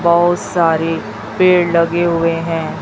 बहुत सारे पेड़ लगे हुए हैं।